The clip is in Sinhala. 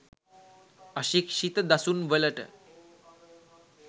අශික්ෂිත දසුන් වලට